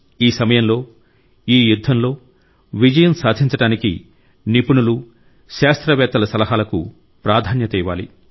ఈ సమయంలో ఈ యుద్ధంలో విజయం సాధించడానికి నిపుణులు శాస్త్రవేత్తల సలహాలకు ప్రాధాన్యత ఇవ్వాలి